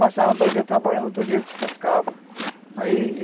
Passava dois dias trabalhando, outro dia ele despescava, ai